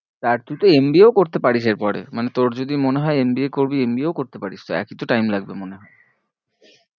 আর তুই তো MBA ও করতে পারিস এর পরে মানে তোর যদি মনে হয়ে MBA করবি MBA ও তো করতে পারিস তো একই তো time লাগবে মনে হয়ে